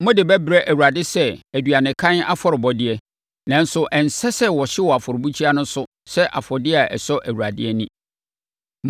Mode bɛbrɛ Awurade sɛ aduanekan afɔrebɔdeɛ, nanso ɛnsɛ sɛ wɔhye wɔ afɔrebukyia no so sɛ afɔdeɛ a ɛsɔ Awurade ani.